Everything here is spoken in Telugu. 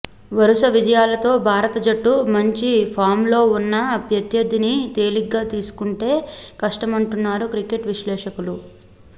వరుస విజయాలతో భారత జట్టు మంచి ఫామ్లో ఉన్నా ప్రత్యర్థిని తేలిగ్గా తీసుకుంటే కష్టమంటున్నారు క్రికెట్ విశ్లేషకులు